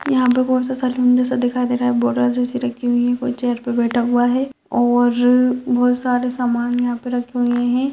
यहाँ पर बहुत सारा सा दिखाई दे रहा है बोरा जैसी रखी हुई है कोई चेयर पर बैठा हुआ है और बहुत सारे सामान यहां पे रखे हुए है।